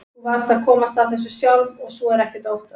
Þú varðst að komast að þessu sjálf og svo er ekkert að óttast.